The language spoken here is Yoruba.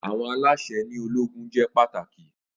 Awọn alaṣẹ ni ologun jẹ pataki.